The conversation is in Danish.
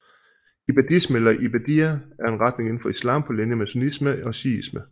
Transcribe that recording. Ibadisme eller ibadiyya er en retning indenfor islam på linje med sunnisme og shiisme